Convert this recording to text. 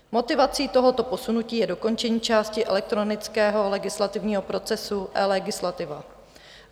Motivací tohoto posunutí je dokončení části elektronického legislativního procesu eLegislativa.